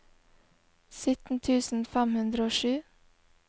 sytten tusen fem hundre og sju